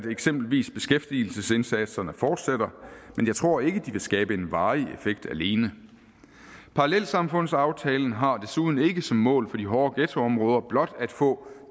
eksempelvis beskæftigelsesindsatserne fortsætter men jeg tror ikke at de vil skabe en varig effekt alene parallelsamfundsaftalen har desuden ikke som mål på de hårde ghettoområder blot at få